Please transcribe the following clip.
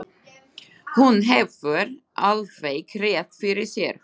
Hún hefur alveg rétt fyrir sér.